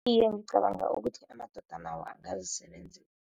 Iye, ngicabanga ukuthi amadoda nawo angazisebenzisa.